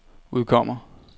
udkommer